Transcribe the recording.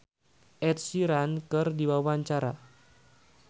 Ipank BIP olohok ningali Ed Sheeran keur diwawancara